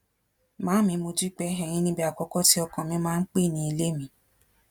màámi mo dúpẹ ẹyìn ní ibi àkọ́kọ́ tí ọkàn mi máa ń pè ní ilé mi